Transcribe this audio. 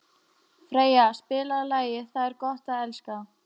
Freyja, spilaðu lagið „Það er gott að elska“.